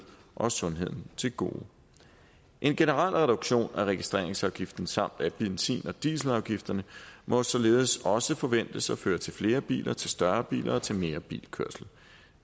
og sundheden til gode en generel reduktion af registreringsafgiften samt af benzin og dieselafgifterne må således også forventes at føre til flere biler til større biler og til mere bilkørsel